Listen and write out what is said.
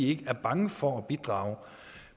ikke er bange for at bidrage